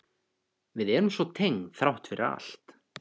Við erum svo tengd þrátt fyrir allt.